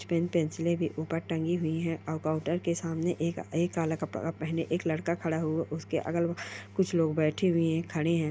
Pen pencil भी ऊपर टंगी हुई है और काउंटर के सामने एक एक काला कपड़ा पहने एक लड़का खड़ा है उसके अगल बगल मे कुछ लोग बेठे हुए हैं खड़े हैं।